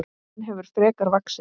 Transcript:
Hún hefur frekar vaxið.